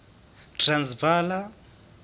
transvala